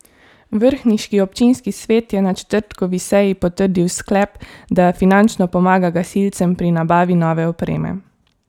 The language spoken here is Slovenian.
Vrhniški občinski svet je na četrtkovi seji potrdil sklep, da finančno pomaga gasilcem pri nabavi nove opreme.